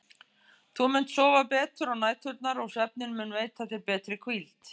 Þú munt sofa betur á næturnar og svefninn mun veita þér betri hvíld.